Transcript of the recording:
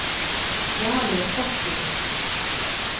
Jarle Fossen